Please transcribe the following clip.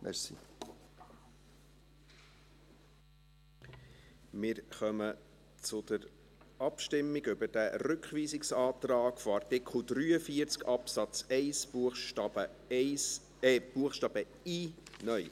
Wir kommen zur Abstimmung über diesen Rückweisungsantrag von Artikel 43 Absatz 1 Buchstabe i (neu).